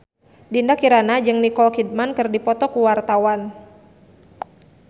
Dinda Kirana jeung Nicole Kidman keur dipoto ku wartawan